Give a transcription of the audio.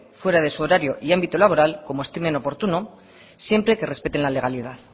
fuera de su horario y ámbito laboral como estimen oportuno siempre que respeten la legalidad